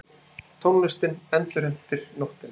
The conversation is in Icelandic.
Tónlistin endurheimtir nóttina.